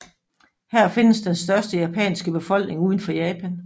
Her findes den største japanske befolkning udenfor Japan